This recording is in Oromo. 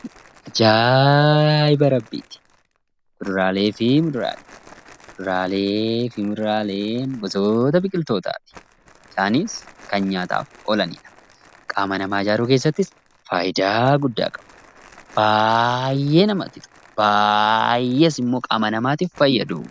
Kuduraalee fi muduraaleen gosoota biqiltootaati. Isaannis kan nyaataaf oolaniidha. Qaama namaa ijaaruu keessattis faayidaa guddaa qabu. Baayyee namatti tolu akkasumas baayyee qaama namaa ijaaru.